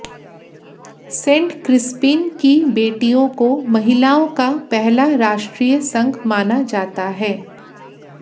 Saint Crispin की बेटियों को महिलाओं का पहला राष्ट्रीय संघ माना जाता है